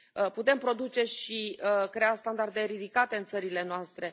Putem produce și crea standarde ridicate în țările noastre.